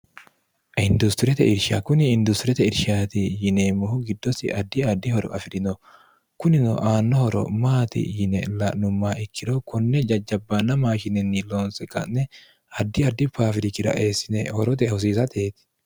industiriete irsha kuni industirete irshaati yineemmohu giddosi addi addihoro afi'rino kunino aannohoro maati yine la'numma ikkiro konne jajjabbaanna maashinenni loonse ka'ne addi addi paafirikira eessine horote hosiisateeti